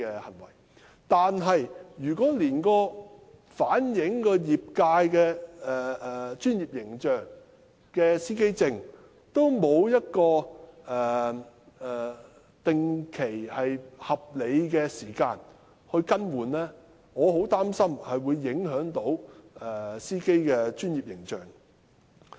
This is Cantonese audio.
可是，如果連反映業界專業形象的司機證也沒有合理的定期更換年期，我很擔心會影響的士司機的專業形象。